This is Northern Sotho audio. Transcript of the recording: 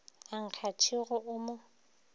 a nkga tšhego o mo